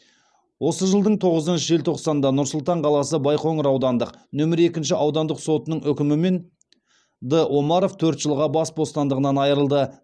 осы жылдың тоғызыншы желтоқсанда нұр сұлтан қаласы байқоңыр аудандық нөмірі екінші аудандық сотының үкімімен д омаров төрт жылға бас бостандығынан айырылды